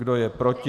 Kdo je proti?